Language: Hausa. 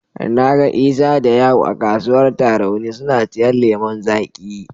Na ga Isa da Ya'u a kasuwar Tarauni suna siyan lemon zaƙi.